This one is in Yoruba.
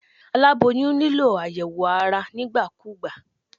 Aláboyún nílò àyẹ̀wò ara nígbà kúgbà.